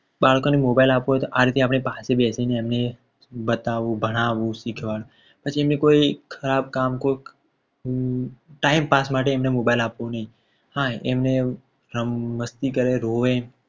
બાળકોને mobile આપવો હોય તો આ રીતે આપણી પાસે બેસીને એમને બતાવવું ભણાવવું શીખવું. પછી કોઈ ખરાબ કામ કે કોઈ time pass માટે અમને mobile આપવો નહીં. હા એ મસ્તી કરે રોવે.